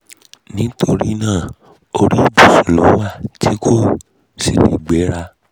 nítorí náà orí ìbùsùn ló wà tí kò sì lè gbéra